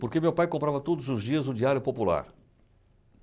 Porque meu pai comprava todos os dias o Diário Popular.